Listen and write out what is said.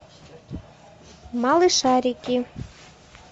малышарики